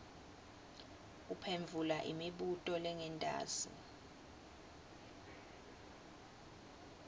uphendvula imibuto lengentasi